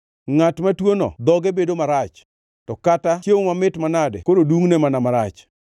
Ngʼat matuono dhoge bedo marach, ma kata chiemo mamit manade koro dungʼne mana marach.